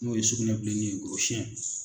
N'o ye sugunɛ bilennin ye gorosiyɛn.